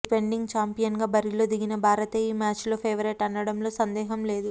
defending ఛాంపియన్గా బరిలో దిగిన భారతే ఈ మ్యాచ్లో ఫేవరేట్ అనడంలో సందేహం లేదు